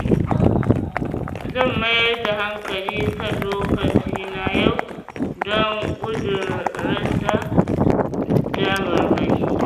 Zan mayar da hankali kan lokacina yau don gudun rasa damarmaki.